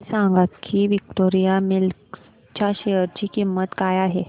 हे सांगा की विक्टोरिया मिल्स च्या शेअर ची किंमत काय आहे